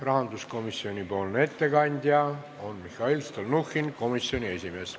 Rahanduskomisjoni ettekandja on Mihhail Stalnuhhin, komisjoni esimees.